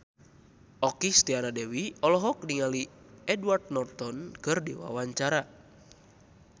Okky Setiana Dewi olohok ningali Edward Norton keur diwawancara